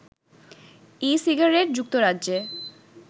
e cigarette যুক্তরাজ্যে